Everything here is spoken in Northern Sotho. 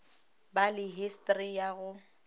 ba le histori ya go